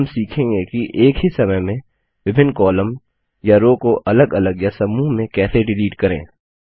अब हम सीखेंगे कि एक ही समय में विभिन्न कॉलम या रो को अलग अलग या समूह में कैसे डिलीट करें